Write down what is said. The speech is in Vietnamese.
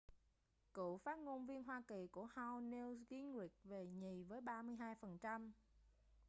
cựu phát ngôn viên hoa kỳ của house newt gingrich về nhì với 32 phần trăm